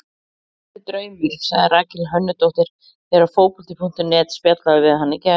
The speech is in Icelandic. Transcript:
Þetta er draumur, sagði Rakel Hönnudóttir þegar Fótbolti.net spjallaði við hana í gær.